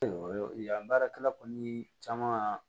Yan baarakɛla kɔni caman